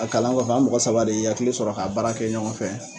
A kalan kɔfɛ an mɔgɔ saba de ye hakili sɔrɔ k'a baara kɛ ɲɔgɔn fɛ